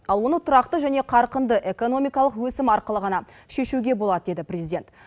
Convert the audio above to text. ал оны тұрақты және қарқынды экономикалық өсім арқылы ғана шешуге болады деді президент